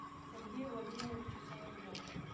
сергею владимировичу соловьеву